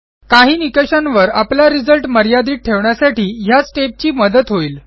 काही निकषांवर आपला रिझल्ट मर्यादित ठेवण्यासाठी ह्या स्टेप ची मदत होईल